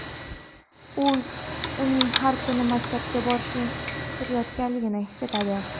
U uning har kuni maktabga borishini kutayotganlarini his etadi.